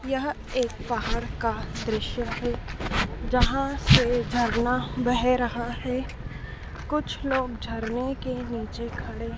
यह एक पहाड़ का दृश्य है। जहां से झरना बह रहा है। कुछ लोग झरने के नीचे खड़े--